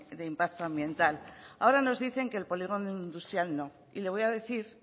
de impacto ambiental ahora nos dicen que el polígono industrial no y le voy a decir